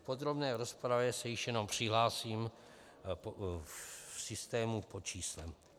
V podrobné rozpravě se již jenom přihlásím v systému pod číslem.